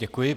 Děkuji.